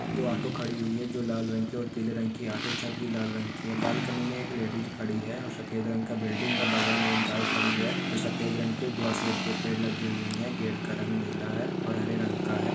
दो ऑटो खड़ी हुई है जो लाल रंग की और पीले रंग की ऑटो छत भी लाल रंग की है बाल्कनी मे एक लेडीज खड़ी है और सफ़ेद रंग का बिल्डिंग है बगल मे एक गाय खड़ी है जो सफ़ेद रंग की है दो अशोक के पेड़ लगी हुई है गेट का रंग नीला है और हरे रंग का है।